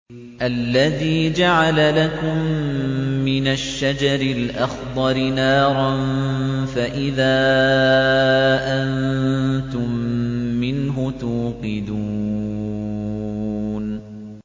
الَّذِي جَعَلَ لَكُم مِّنَ الشَّجَرِ الْأَخْضَرِ نَارًا فَإِذَا أَنتُم مِّنْهُ تُوقِدُونَ